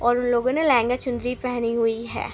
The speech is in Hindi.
और उन लोगों ने लहंगा चुनरी पहनी हुई है।